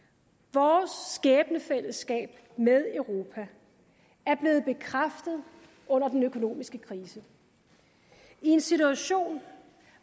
vores skæbnefællesskab med europa er blevet bekræftet under den økonomiske krise i en situation